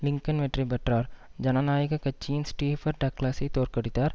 Lincoln வெற்றி பெற்றார் ஜனநாயக கட்சியின் ஸ்டீபர் டக்ளஸைத் தோற்கடித்தார்